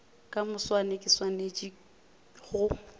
ka moswane ke swanetše go